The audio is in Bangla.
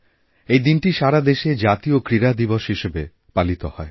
এই দিনটি সারা দেশে জাতীয় ক্রীড়া দিবসহিসেবে পালিত হয়